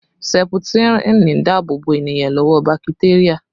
Seputirin ń dáàbò bo ènìyàn lọ́wọ́ bakiteria